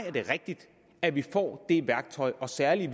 er det rigtigt at vi får det værktøj og særlig